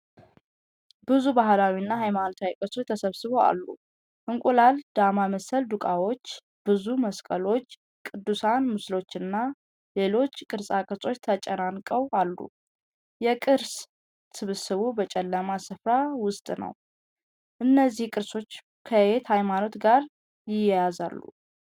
ብዙ ባህላዊና ሃይማኖታዊ ቅርሶች ተሰብስበው አሉ። የእንቁላል ዳማ መሰል ዶቃዎች፣ ብዙ መስቀሎች፣ የቅዱሳን ምስሎችና ሌሎች ቅርጻ ቅርጾች ተጨናንቀው አሉ። የቅርስ ስብስቡ በጨለማ ስፍራ ውስጥ ነው። እነዚህ ቅርሶች ከየትኛው ሃይማኖት ጋር ይያያዛሉ?